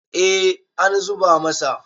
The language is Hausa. eh an zuba masa